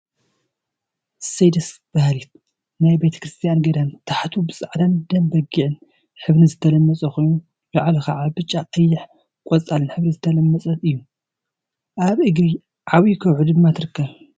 አሰይ ደስ በሃሊት! ናይ ቤተ ክርስትያን ገዳም ታሕቱ ብፃዕዳን ደም በጊዕ ሕብሪን ዝተለመፀ ኮይኑ፣ ላዕሉ ከዓ ብጫ፣ ቀይሕን ቆፃልን ሕብሪ ዝተለመፀት እዩ፡፡ አብ እግሪ ዓብይ ከውሒ ድማ ትርከብ፡፡